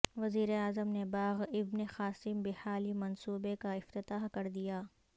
وزیراعظم نے باغ ابن قاسم بحالی منصوبے کا افتتاح کر دیا